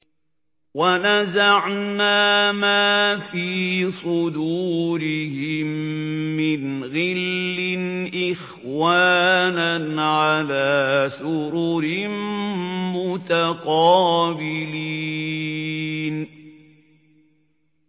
وَنَزَعْنَا مَا فِي صُدُورِهِم مِّنْ غِلٍّ إِخْوَانًا عَلَىٰ سُرُرٍ مُّتَقَابِلِينَ